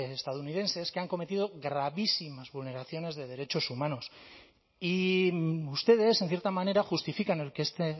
estadounidenses que han cometido gravísimas vulneraciones de derechos humanos y ustedes en cierta manera justifican el que este